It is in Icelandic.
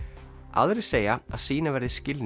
aðrir segja að sýna verði skilning